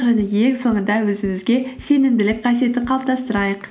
және ең соңында өзімізге сенімділік қасиетін қалыптастырайық